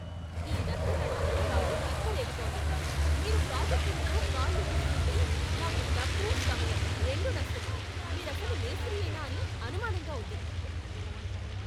ఈ నత్తనడకతో నాకు తిక్క రేగుతోంది. మీరు ప్రాజెక్టులతో కాళ్ళీడుస్తుంటే నాకు డబ్బు సమయం రెండూ నష్టమే, మీరసలు మేస్త్రీయేనా అని అనుమానంగా ఉంది!